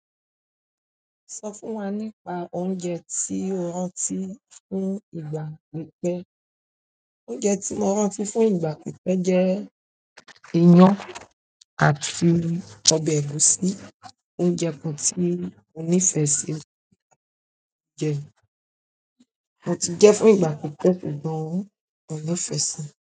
Sọ fún wa nípa oúnjẹ tí o rántí fún ìgbà pípẹ́. Oúnjẹ tí mo rán ti fún ìgbà pípẹ́ jẹ́ iyán àti ọbẹ̀ ẹ̀gúsí. Oúnjẹ kan tí mo nífẹ̀ẹ́ sí. Mo ti jẹẹ́ fún ìgbà pípẹ́, ṣùgbọ́n mo nífẹ̀ẹ́ si.